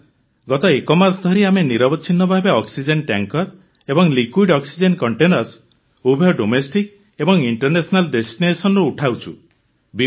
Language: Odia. ସାର୍ ଗତ ଏକ ମାସ ଧରି ଆମେ ନିରବଚ୍ଛିନ୍ନ ଭାବେ ଅକ୍ସିଜେନ ଟ୍ୟାଙ୍କର ଏବଂ ଲିକ୍ୱିଡ ଅକ୍ସିଜେନ କଣ୍ଟେନର୍ସ ଉଭୟ ଡୋମେଷ୍ଟିକ ଏବଂ ଇଣ୍ଟରନ୍ୟାସନାଲ ଡେଷ୍ଟିନେସନରୁ ଉଠାଉଛୁ